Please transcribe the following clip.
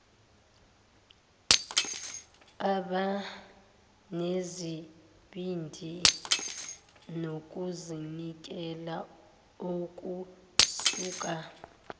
abanesibindi nokuzinikela okusuka